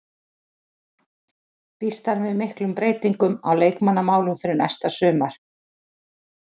Býst hann við miklum breytingum á leikmannamálum fyrir næsta sumar?